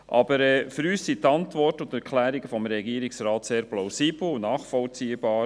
Aber für uns sind die Antworten und Erklärungen des Regierungsrates sehr plausibel und nachvollziehbar.